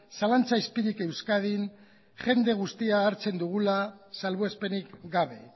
zalantza izpirik euskadin jende guztia hartzen dugula salbuespenik gabe